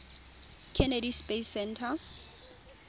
kennedy space center